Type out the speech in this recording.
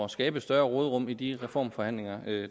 at skabe større råderum i de reformforhandlinger